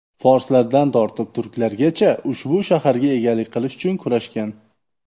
Forslardan tortib turklargacha ushbu shaharga egalik qilish uchun kurashgan.